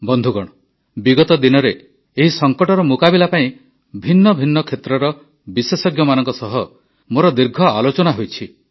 ବନ୍ଧୁଗଣ ବିଗତ ଦିନରେ ଏହି ସଙ୍କଟର ମୁକାବିଲା ପାଇଁ ଭିନ୍ନ ଭିନ୍ନ କ୍ଷେତ୍ରର ବିଶେଷଜ୍ଞମାନଙ୍କ ସହ ମୋର ଦୀର୍ଘ ଆଲୋଚନା ହୋଇଛି